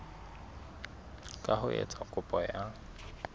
ka ho etsa kopo ya